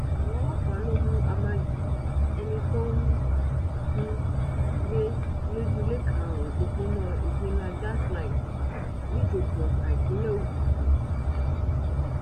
àwọn ọlọpàá ló mú amagi ẹni tó ń um gbé lọjọlẹ karùnún òpópónà iginlá gas line nìjòkò ọtá ìpínlẹ ogun um